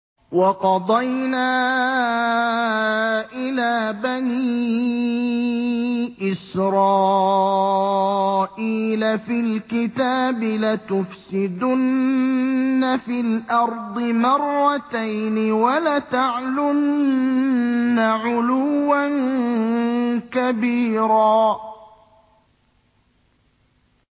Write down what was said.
وَقَضَيْنَا إِلَىٰ بَنِي إِسْرَائِيلَ فِي الْكِتَابِ لَتُفْسِدُنَّ فِي الْأَرْضِ مَرَّتَيْنِ وَلَتَعْلُنَّ عُلُوًّا كَبِيرًا